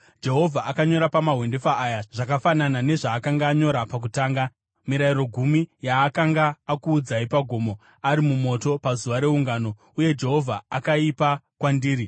Jehovha akanyora pamahwendefa aya zvakafanana nezvaakanga anyora pakutanga, Mirayiro Gumi yaakanga akuudzai pagomo, ari mumoto, pazuva reungano. Uye Jehovha akaipa kwandiri.